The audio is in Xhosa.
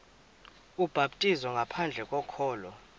ubhaptizo ngaphandle kokholo